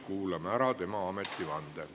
Kuulame ära tema ametivande.